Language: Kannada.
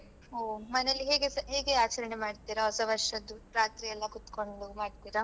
ಓ ಮನೆಯಲ್ಲಿ ಹೇಗೆ ಹೇಗೆ ಆಚರಣೆ ಮಾಡ್ತಿರಾ ಹೊಸ ವರ್ಷದ್ದು ರಾತ್ರಿಯೆಲ್ಲಾ ಕುತ್ಕೊಂಡು ಮಾಡ್ತಿರಾ?